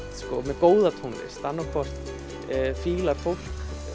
með góða tónlist annaðhvort fílar fólk